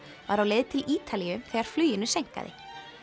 var á leið til Ítalíu þegar fluginu seinkaði